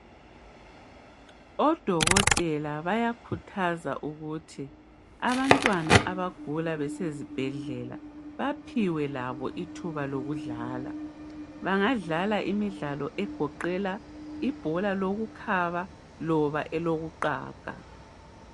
Odokotela bayakhuthaza ukuthi abantwana abagula besezibhedlela baphiwe labo ithuba lokudlala bangadlala imidlalo egoqela ibhola lokukhaba loba elokuqaga.